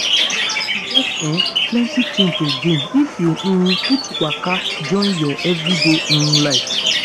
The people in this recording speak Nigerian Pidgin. e get ehm plenty thing to gain if you um put waka join your everyday um life.